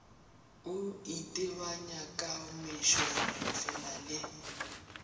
e itebanya ka mešogofela le